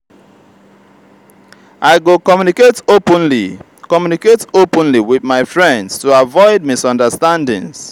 i go communicate openly communicate openly with my friends to avoid misunderstandings.